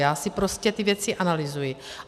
Já si prostě ty věci analyzuji.